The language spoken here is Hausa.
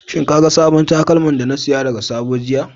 Shin ka ga sabon takalman da na saya daga sabo jiya.